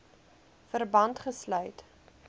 verband gesluit